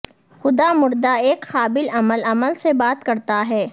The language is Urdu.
خدا مردہ ایک قابل عمل عمل سے بات کرتا ہے